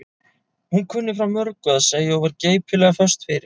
Hún kunni frá mörgu að segja og var geipilega föst fyrir.